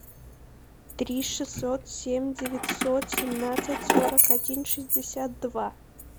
три шестьсот семь девятьсот семнадцать сорок один шестьдесят два